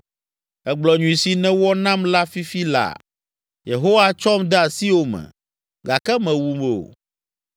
Ègblɔ nyui si nèwɔ nam la fifi laa. Yehowa tsɔm de asiwò me, gake mèwum o.